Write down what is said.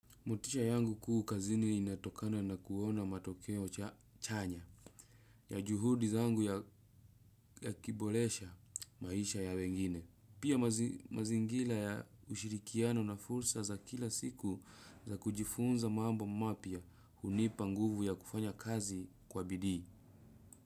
Motisha yangu kuu kazini inatokana na kuona matokeo chanya ya juhudi zangu yakiboresha maisha ya wengine. Pia mazingira ya ushirikiano na fursa za kila siku za kujifunza mambo mapya hunipa nguvu ya kufanya kazi kwa bidii.